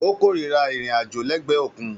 Ó kórìíra ìrìn-àjò lẹ́gbẹ̀ẹ́ òkun